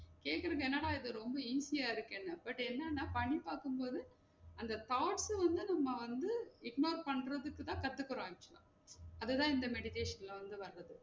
கேக்குறது என்னடா இது ரொம்ப easy அ இருகேனோம் but என்னன்னா பண்ணிபாக்கும் போது அந்த thought வந்து நம்ம வந்து ignore பண்றதுக்கு தான் கத்துகிறாங்க actual லா அத தான் இந்த meditation ல வந்து நாங்க